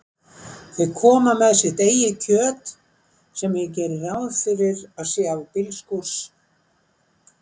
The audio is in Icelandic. Þau koma með sitt eigið kjöt, sem ég geri ráð fyrir að sé af bílskúrs